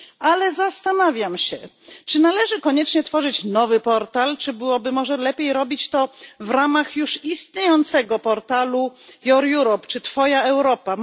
Ale zastanawiam się, czy należy koniecznie tworzyć nowy portal, czy byłoby może lepiej robić to w ramach już istniejącego portalu Your Europe czy Twoja Europa.